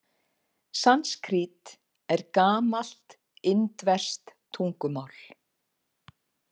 Sanskrít er gamalt indverskt tungumál.